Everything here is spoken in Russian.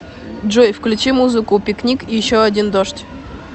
джой включи музыку пикник еще один дождь